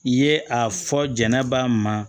I ye a fɔ jɛnɛba ma